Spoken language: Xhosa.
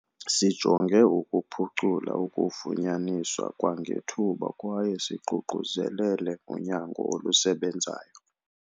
"Sijonge ukuphucula ukufunyaniswa kwangethuba kwaye siququzelele unyango olusebenzayo."